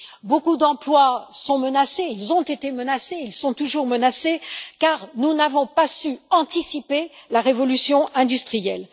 Beaucoup d'emplois ont été menacés, ils sont toujours menacés, car nous n'avons pas su anticiper la révolution industrielle.